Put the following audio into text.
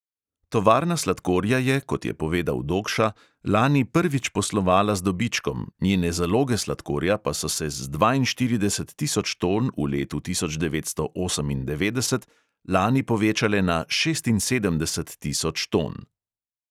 Tovarna sladkorja je, kot je povedal dogša, lani prvič poslovala z dobičkom, njene zaloge sladkorja pa so se z dvainštirideset tisoč ton v letu tisoč devetsto osemindevetdeset lani povečale na šestinsedemdeset tisoč ton.